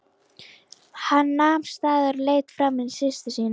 Hann nam staðar og leit framan í systur sína.